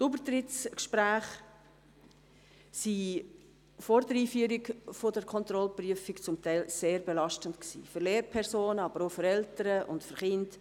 Die Übertrittsgespräche waren vor der Einführung der Kontrollprüfung zum Teil sehr belastend für Lehrpersonen, aber auch für Eltern und für Kinder.